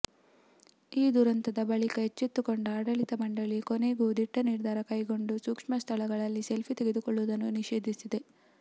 ಈ ದುರಂತದ ಬಳಿಕ ಎಚ್ಚೆತ್ತುಕೊಂಡ ಆಡಳಿತ ಮಂಡಳಿ ಕೊನೆಗೂ ದಿಟ್ಟ ನಿರ್ಧಾರ ಕೈಗೊಂಡು ಸೂಕ್ಷ್ಮ ಸ್ಥಳಗಳಲ್ಲಿ ಸೆಲ್ಫಿ ತೆಗೆದುಕೊಳ್ಳುವುದನ್ನು ನಿಷೇಧಿಸಿದೆ